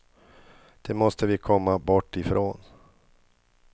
Det måste vi komma bort ifrån.